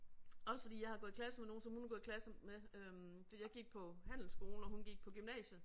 Også fordi jeg har gået i klasse med nogen som hun har gået i klasse med øh fordi jeg gik på handelskolen og hun gik på gymnasiet